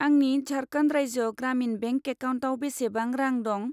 आंनि झारखन्ड राज्य ग्रामिन बेंक एकाउन्टाव बेसेबां रां दं?